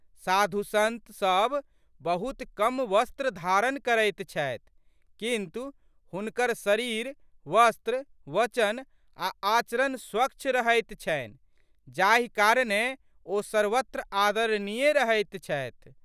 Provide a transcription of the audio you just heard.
साधुसंत सब बहुत कम वस्त्र धारण करैत छथि किन्तु, हुनकर शरीर, वस्त्र, वचन आ आचरण स्वच्छ रहैत छन्हि जाहि कारणेँ ओ सर्वत्र आदरणीय रहैत छथि।